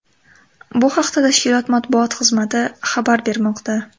Bu haqda tashkilot matbuot xizmati xabar bermoqda.